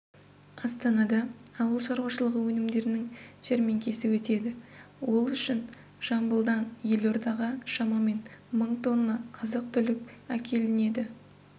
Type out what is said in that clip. астанада ауыл шаруашылығы өнімдерінің жәрмеңкесі өтеді ол үшін жамбылдан елордаға шамамен мың тонна азық-түлік әкелінеді